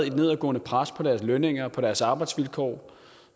et nedadgående pres på deres lønninger på deres arbejdsvilkår